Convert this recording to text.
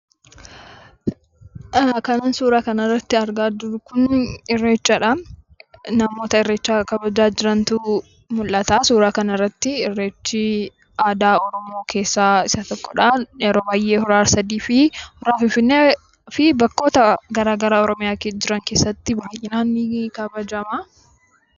Kanan suuraa kana irratti argaa jiru kun irreechadha. Namoota irreecha kabajaa jirantu mul'ata suuraa kana irratti. Irreechi aadaa Oromoo keessaa isa tokkodha. Yeroo baay'ee hora Ar-sadeefi hora finfinnee fi bakkoota gara garaa Oromiyaa keessa jiran keessatti ni geggeeffama.